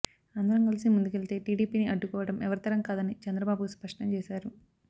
అందరం కలిసి ముందుకెళ్తే టీడీపీని అడ్డుకోవడం ఎవరితరం కాదని చంద్రబాబు స్పష్టం చేశారు